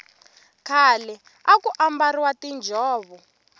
khale aku ambariwa tinjhovo